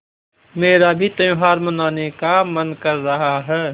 मेरा भी त्यौहार मनाने का मन कर रहा है